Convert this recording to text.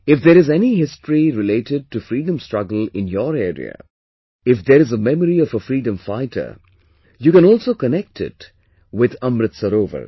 If there is any history related to freedom struggle in your area, if there is a memory of a freedom fighter, you can also connect it with Amrit Sarovar